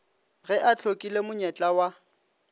ge a hlokile monyetla wa